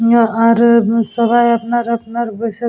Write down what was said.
আর এ সবাই আপনার আপনার বেশে।